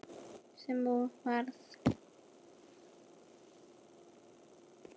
Sem og varð.